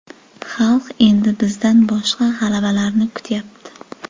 Xalq endi bizdan boshqa g‘alabalarni kutyapti.